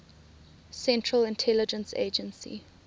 central intelligence agency